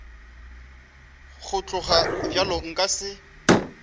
go tloga bjalo nka se